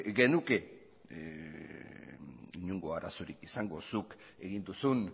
genuke inongo arazorik izango zuk egin duzun